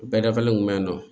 Bɛɛ dafalen kun bɛ nɔn